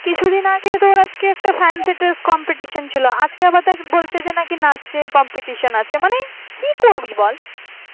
কিছুদিন আগে একটা fancy dress competition ছিল আজকে আবার দেখ বলছে যে নাকি নাচের competition আছে মানে কি করবি বল